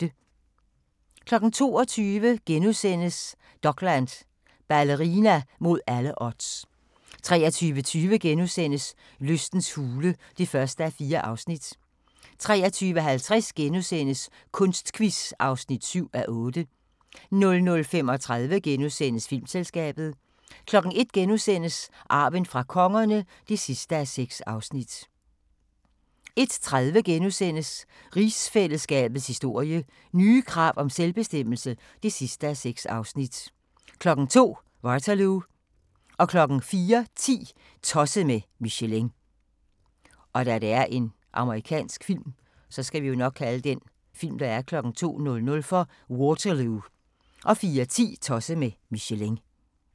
22:00: Dokland: Ballerina mod alle odds * 23:20: Lystens hule (1:4)* 23:50: Kunstquiz (7:8)* 00:35: Filmselskabet * 01:00: Arven fra kongerne (6:6)* 01:30: Rigsfællesskabets historie: Nye krav om selvbestemmelse (6:6)* 02:00: Waterloo 04:10: Tosset med Michelin